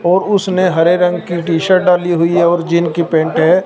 और उसने हरे रंग की टी-शर्ट डाली हुई और जिनकी पेंट है।